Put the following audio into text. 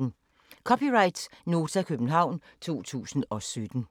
(c) Nota, København 2017